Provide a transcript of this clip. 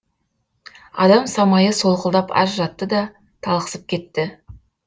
адам самайы солқылдап аз жатты да талықсып кетті